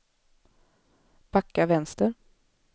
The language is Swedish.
backa vänster